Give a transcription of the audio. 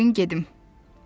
İzin verin gedim.